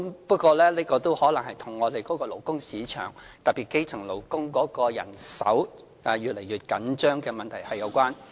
不過，這可能是與我們的勞工市場，特別是基層勞工的人手越來越緊張有關。